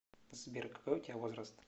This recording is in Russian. сбер какой у тебя возраст